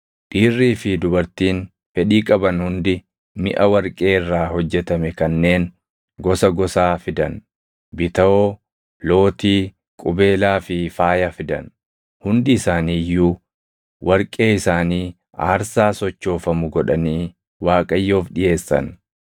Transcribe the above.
Dhiirrii fi dubartiin fedhii qaban hundi miʼa warqee irraa hojjetame kanneen gosa gosaa fidan; bitawoo, lootii, qubeelaa fi faaya fidan. Hundi isaanii iyyuu warqee isaanii aarsaa sochoofamu godhanii Waaqayyoof dhiʼeessan.